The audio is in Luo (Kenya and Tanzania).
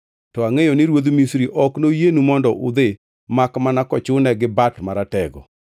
To angʼeyo ni ruodh Misri ok noyienu mondo udhi makmana kochune gi bat maratego.